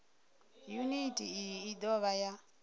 yuniti iyi i dovha ya